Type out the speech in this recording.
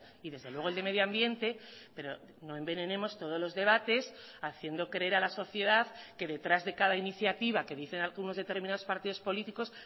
y desde luego el de medio ambiente pero no envenenemos todos los debates haciendo creer a la sociedad que detrás de cada iniciativa que dicen algunos determinados partidos políticos